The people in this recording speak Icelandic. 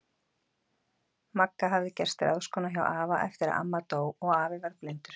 Magga hafði gerst ráðskona hjá afa eftir að amma dó og afi varð blindur.